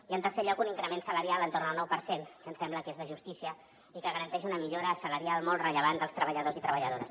i en tercer lloc un increment salarial entorn del nou per cent que ens sembla que és de justícia i que garanteix una millora salarial molt rellevant dels treballadors i treballadores